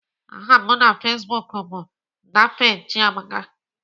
Aha m na Facebook bụ Daphne Chiamaka